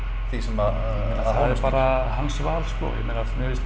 því sem að er bara hans val ég meina mér finnst